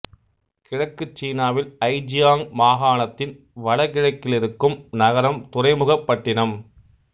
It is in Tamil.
கிழக்குச் சீனாவில் ஐஜியாங் மாகாணத்தின் வடகிழக்கிலிருக்கும் நகரம் துறைமுகப் பட்டினம்